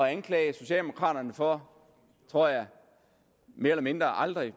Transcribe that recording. at anklage socialdemokraterne for tror jeg mere eller mindre aldrig at